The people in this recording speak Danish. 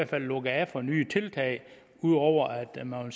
der lukket af for nye tiltag ud over at man